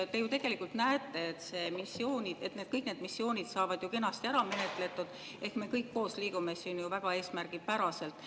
Te ju tegelikult näete, et kõik need missioonid saavad kenasti ära menetletud ehk me liigume siin kõik koos väga eesmärgipäraselt.